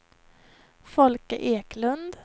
Folke Eklund